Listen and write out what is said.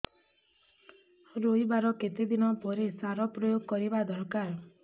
ରୋଈବା ର କେତେ ଦିନ ପରେ ସାର ପ୍ରୋୟାଗ କରିବା ଦରକାର